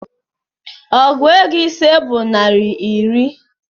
Ọgụ ego ise bụ naira iri